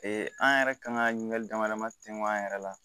an yɛrɛ kan ka ɲininkali dama dama tɛmɛn an yɛrɛ la